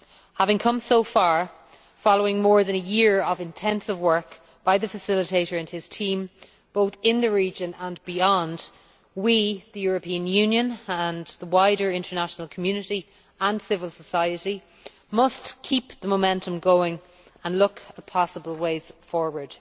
Having come so far, following more than a year of intensive work by the facilitator and his team, both in the region and beyond, we, the European Union, and the wider international community and civil society must keep the momentum going and look at possible ways forward.